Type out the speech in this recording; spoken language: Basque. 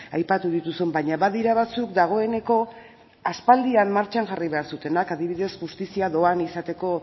aipatu dituzun baina badira batzuk dagoeneko aspaldian martxan jarri behar zutenak adibidez justizia dohain izateko